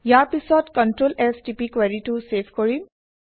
ইয়াৰ পিছত control S টিপি কুৱেৰিটো চেভ কৰিম